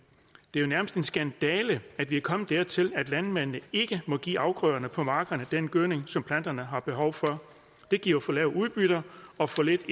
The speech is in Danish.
er jo nærmest en skandale at vi er kommet dertil at landmændene ikke må give afgrøderne på markerne den gødning som planterne har behov for det giver for lave udbytter og for lidt